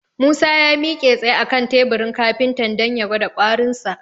Musa ya miƙe tsaye a kan teburin kafintan dan ya gwada ƙwarinsa.